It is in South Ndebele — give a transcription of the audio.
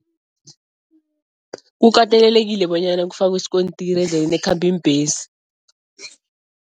Kukatelelekile bonyana kufakwe isikontiri endleleni ekhamba iimbhesi.